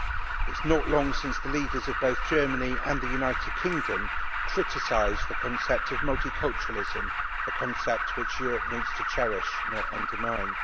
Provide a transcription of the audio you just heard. It is not long since the leaders of both Germany and the United Kingdom criticised the concept of multiculturalism a concept which Europe needs to cherish, not undermine.